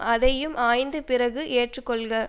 அதையும் ஆய்ந்து பிறகு ஏற்றுக்கொள்க